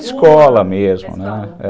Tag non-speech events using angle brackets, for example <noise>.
Escola mesmo, né <unintelligible>